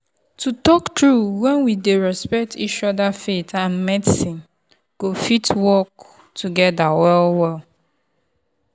to talk true when we dey respect each other faith and medicine go fit work together well-well.